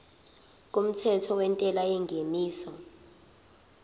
kumthetho wentela yengeniso